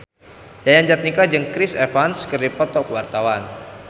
Yayan Jatnika jeung Chris Evans keur dipoto ku wartawan